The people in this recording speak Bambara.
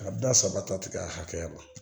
Ka da saba ta tigɛ a hakɛya ma